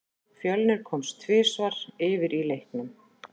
Fjölnir komst tvisvar yfir í leiknum.